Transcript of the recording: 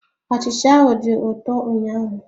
Achịcha ahụ dị ụtọ ụnyaahụ